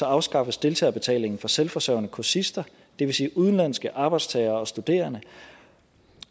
afskaffes deltagerbetalingen for selvforsørgende kursister det vil sige udenlandske arbejdstagere og studerende